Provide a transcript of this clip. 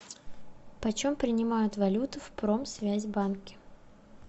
почем принимают валюту в промсвязьбанке